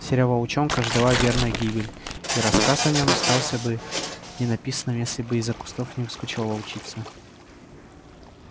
серого волчонка ждала верная гибель и рассказ о нем остался бы ненаписанным если бы из-за кустов не выскочила волчица